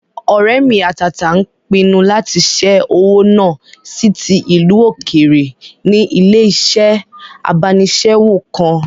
Ọ̀rẹ́ mi àtàtà n pinnu lati ṣẹ́ owó náà sí ti ìlú òkèèrè ní ilé-iṣẹ́ abánisẹ́wò kan